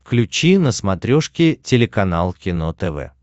включи на смотрешке телеканал кино тв